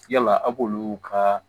Yala awlu ka